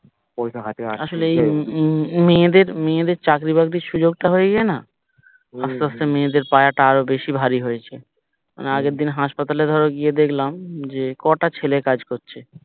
আসলে এই মেয়েদের মেয়েদের চাকরি বাকরির সুযোগ তা হয়ে গিয়ে না আস্তে আস্তে মেয়েদের পায়াটা আরো বেশি ভারী হয়েছে আগের দিন হাসপাতালে ধরো গিয়ে দেখলাম যে কটা ছেলে কাজ করছে